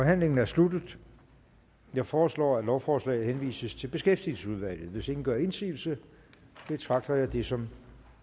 forhandlingen er sluttet jeg foreslår at lovforslaget henvises til beskæftigelsesudvalget hvis ingen gør indsigelse betragter jeg det som